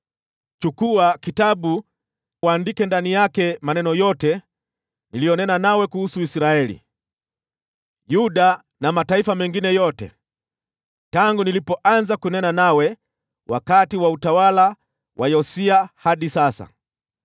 “Chukua kitabu uandike ndani yake maneno yote niliyonena nawe kuhusu Israeli, Yuda na mataifa mengine yote, tangu nilipoanza kunena nawe wakati wa utawala wa Yosia hadi sasa.